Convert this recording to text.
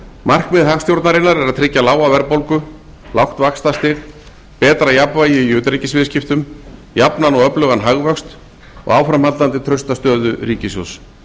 markmið hagstjórnarinnar er að tryggja lága verðbólgu lágt vaxtastig betra jafnvægi í utanríkisviðskiptum jafnan og öflugan hagvöxt og áframhaldandi trausta stöðu ríkissjóðs